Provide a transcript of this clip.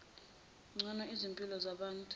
ngcono izimpilo zabantu